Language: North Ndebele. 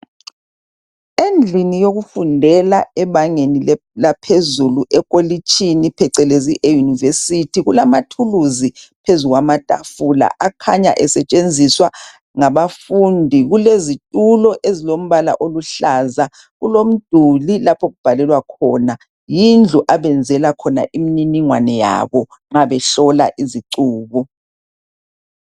Endlini yekufundela ebangeli laphezulu ekolitshini phecelezi eYunivesithi kulamathuluzi phezulu kwamatafula akhanya esetshenziswa ngabafundi kulezitulo ezilompala oluhlaza kulomduli lapho okubhalelwa khona. Yindlu abenzela khona imniningwano yabo nxa behlola izicubo.